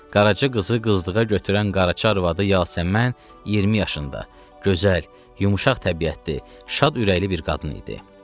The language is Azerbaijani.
Qaraçı qızı qızdığa götürən qaraçı arvadı Yasəmən 20 yaşında, gözəl, yumşaq təbiətli, şad ürəkli bir qadın idi.